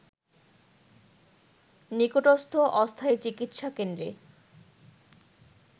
নিকটস্থ অস্থায়ী চিকিৎসা কেন্দ্রে